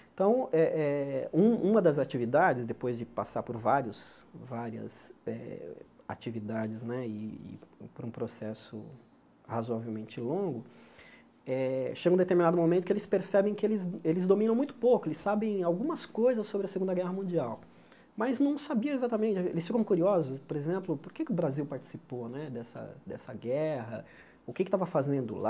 Então, eh eh um uma das atividades, depois de passar por vários várias eh atividades né e por um processo razoavelmente longo, eh chega um determinado momento que eles percebem que eles eles dominam muito pouco, eles sabem algumas coisas sobre a Segunda Guerra Mundial, mas não sabia exatamente, eles ficam curiosos, por exemplo, por que que o Brasil participou dessa dessa guerra, o que é que estava fazendo lá,